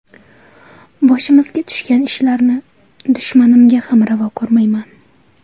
Boshimizga tushgan ishlarni dushmanimga ham ravo ko‘rmayman.